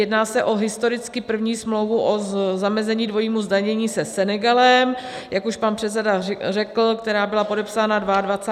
Jedná se o historicky první smlouvu o zamezení dvojímu zdanění se Senegalem, jak už pan předseda řekl, která byla podepsána 22. ledna 2020 v Dakaru.